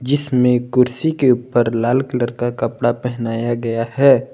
इसमें कुर्सी के ऊपर लाल कलर का कपड़ा पहनाया गया है।